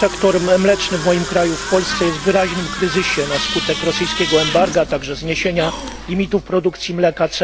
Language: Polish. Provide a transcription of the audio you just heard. Sektor mleczny w moim kraju, w Polsce, jest w wyraźnym kryzysie na skutek rosyjskiego embarga, a także zniesienia limitów produkcji mleka.